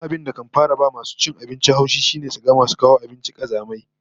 Babban abin da kan fara ba masu cin abinci haushi shine su ga masu kawo abinci kazamai